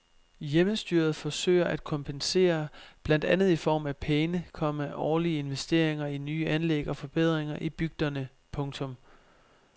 Hjemmestyret forsøger at kompensere blandt andet i form af pæne, komma årlige investeringer i nye anlæg og forbedringer i bygderne. punktum